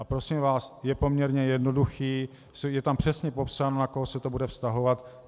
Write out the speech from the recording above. A prosím vás, je poměrně jednoduchý, je tam přesně popsáno, na koho se to bude vztahovat.